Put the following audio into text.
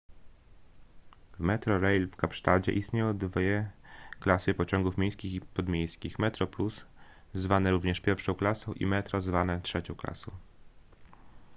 w metrorail w kapsztadzie istnieją dwie klasy pociągów miejskich i podmiejskich : metroplus zwane również pierwszą klasą i metro zwane trzecią klasą